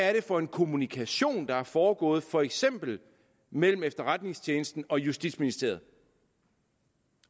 er det for en kommunikation der er foregået for eksempel mellem efterretningstjenesten og justitsministeriet